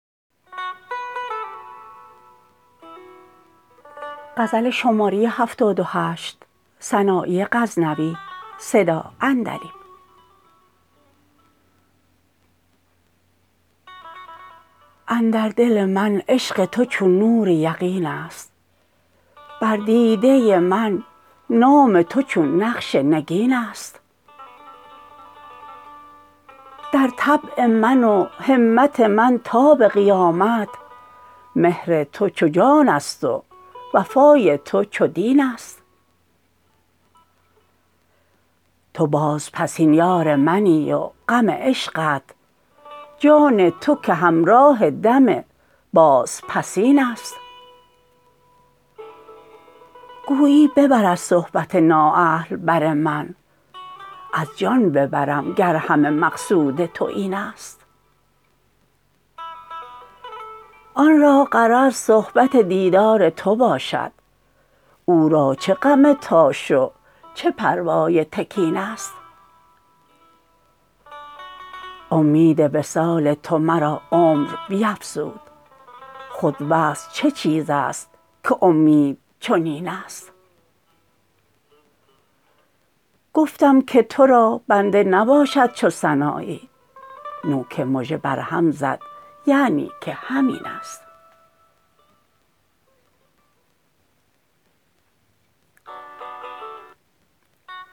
اندر دل من عشق تو چون نور یقین است بر دیده من نام تو چون نقش نگین است در طبع من و همت من تا به قیامت مهر تو چو جان است و وفای تو چو دین است تو بازپسین یار منی و غم عشقت جان تو که همراه دم بازپسین است گویی ببر از صحبت نااهل بر من از جان ببرم گر همه مقصود تو این است آن را که غرض صحبت دیدار تو باشد او را چه غم تاش و چه پروای تکین است امید وصال تو مرا عمر بیفزود خود وصل چه چیز است که امید چنین است گفتم که تو را بنده نباشد چو سنایی نوک مژه بر هم زد یعنی که همین است